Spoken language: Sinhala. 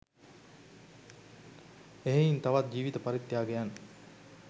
එහෙයින් තවත් ජීවිත පරිත්‍යාගයන්